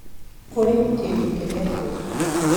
Kũrĩ kĩndũ kĩretwo